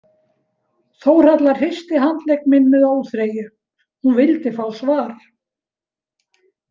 Þórhalla hristi handlegg minn með óþreyju, hún vildi fá svar.